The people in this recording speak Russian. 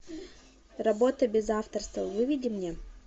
работа без авторства выведи мне